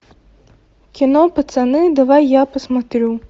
кино пацаны давай я посмотрю